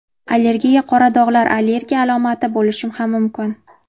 Allergiya Qora dog‘lar allergiya alomati bo‘lishi ham mumkin.